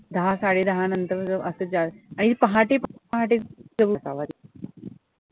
दहा साडे दहानंतर जो असं जा आणि पहाटे पहाटे सुरूच आवाज